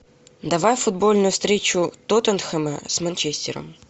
давай футбольную встречу тоттенхэма с манчестером